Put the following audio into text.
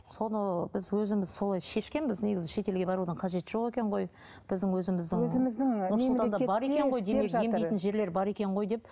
соны біз өзіміз солай шешкенбіз негізі шетелге барудың қажеті жоқ екен ғой біздің өзіміздің өзіміздің нұр сұлтанда бар екен ғой демек емдейтін жерлер бар екен ғой деп